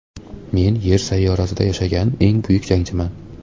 Men Yer sayyorasida yashagan eng buyuk jangchiman.